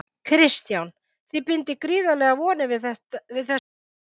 Kristján: Þið bindið gríðarlegar vonir við þessa nýju höfn?